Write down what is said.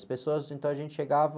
As pessoas, então, a gente chegava...